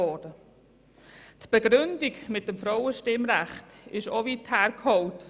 Die Begründung mit dem Frauenstimmrecht ist auch weit hergeholt.